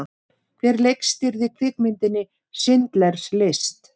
Hver leikstýrði kvikmyndinni Schindlers List?